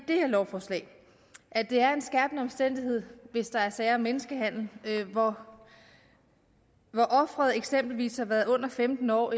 det her lovforslag at det er en skærpende omstændighed hvis der er sager om menneskehandel hvor offeret eksempelvis har været under femten år